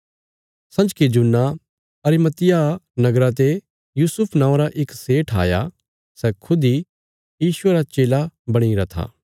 संजके जुन्ना अरिमतियाह नगरा ते यूसुफ नौआं रा इक सेठ आया सै खुद इ यीशुये रा चेला बणी गरा था